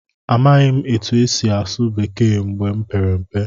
Amaghị m otú e si asụ Bekee mgbe m pere mpe.